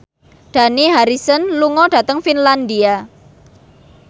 Dani Harrison lunga dhateng Finlandia